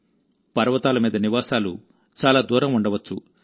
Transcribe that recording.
పర్వతాల మీద నివాసాలు చాలా దూరం ఉండవచ్చు